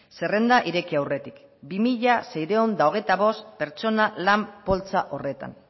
zerrenda ireki aurretik bi mila seiehun eta hogeita bost pertsona lan poltsa horretan